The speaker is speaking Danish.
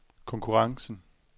konkurrencen